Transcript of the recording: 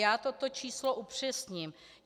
Já toto číslo upřesním.